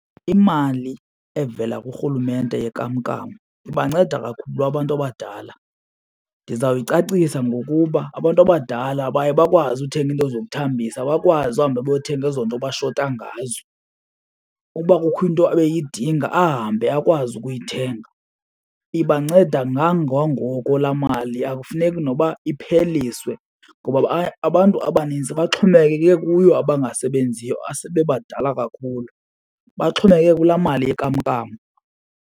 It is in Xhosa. Imali evela kurhulumente yenkamnkam ibanceda kakhulu abantu abadala. Ndizawuyicacisa ngokuba abantu abadala baye bakwazi uthenga into zokuthambisa, bakwazi uhambe bayothenga ezo nto abashota ngazo. Ukuba kukho into ebeyidinga ahambe akwazi ukuyithenga. Ibanceda kangangoko la mali, akufuneki nokuba ipheliswe ngoba abantu abaninzi baxhomekeke kuyo abangasebenziyo asebebadala kakhulu, baxhomekeke kulaa mali yenkamnkam.